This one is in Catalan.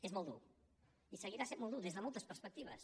és molt dur i seguirà sent molt dur des de moltes perspectives